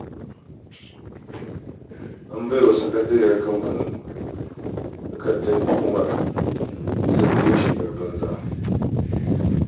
An bai wa sakatariyar kamfanin takardar tuhumar bisa yin shigar banza.